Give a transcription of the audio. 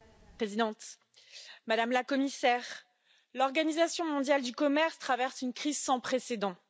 Madame la Présidente, Madame la Commissaire, l'Organisation mondiale du commerce traverse une crise sans précédent.